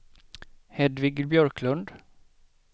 Hedvig Björklund